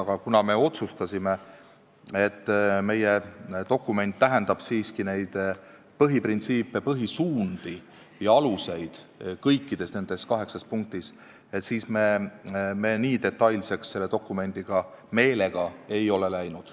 Aga kuna me otsustasime, et meie dokument tähendab siiski põhiprintsiipe, -suundi ja -aluseid kõikides kaheksas punktis, siis me nii detailseks selles dokumendis meelega ei läinud.